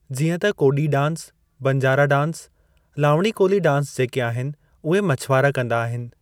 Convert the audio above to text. जीअं त कोॾी dance, Banjara dance, Lavani Koli dance जेके आहिनि उहे मछुवारा कंदा आहिनि।